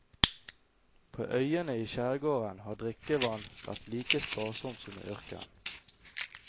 På øyene i skjærgården har drikkevann vært like sparsomt som i ørkenen.